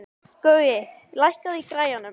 Gaui, lækkaðu í græjunum.